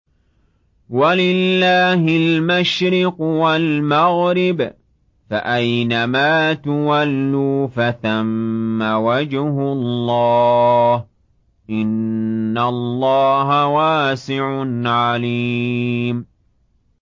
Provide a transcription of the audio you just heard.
وَلِلَّهِ الْمَشْرِقُ وَالْمَغْرِبُ ۚ فَأَيْنَمَا تُوَلُّوا فَثَمَّ وَجْهُ اللَّهِ ۚ إِنَّ اللَّهَ وَاسِعٌ عَلِيمٌ